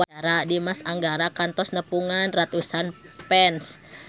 Dimas Anggara kantos nepungan ratusan fans